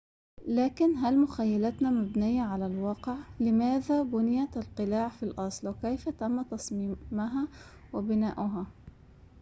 لكن هل مخيلتنا مبنية على الواقع لماذا بُنِيَت القلاع في الأصل كيف تم تصميمها وبناؤها